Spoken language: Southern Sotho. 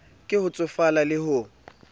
ke ho tsofala le ho